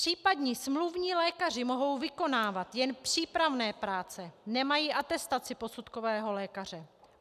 Případní smluvní lékaři mohou vykonávat jen přípravné práce, nemají atestaci posudkového lékaře.